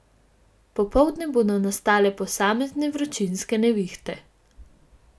Popoldne bodo nastale posamezne vročinske nevihte.